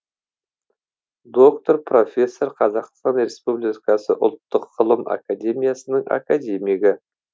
доктор профессор қазақстан республикасы ұлттық ғылым академиясының академигі